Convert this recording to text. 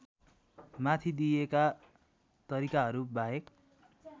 माथि दिइएका तरिकाहरूबाहेक